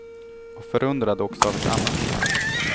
Och förundrad också av ett annat skäl.